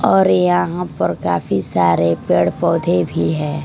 और यहाँ पर काफी सारे पेड़-पौधे भी हैं।